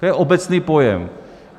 To je obecný pojem.